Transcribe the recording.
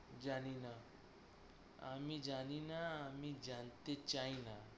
জানিনা। আমি জানিনা আমি জানিতে চাই না।